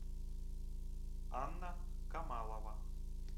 анна камалова